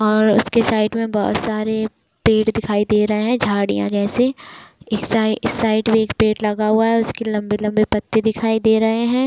और उसके साइड में बहुत सारे पेड़ दिखाई दे रहे है झाड़िया जैसे इस साइड इस साइड में एक पेड़ लगा हुआ है उसके लम्बे-लम्बे पत्ते दिखाई दे रहे है।